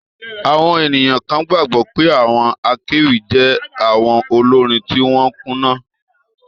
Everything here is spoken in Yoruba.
Àwọn ènìyàn kan gbàgbọ́ pé àwọn akéwì jẹ́ awon olórin tí wọ́n kùnà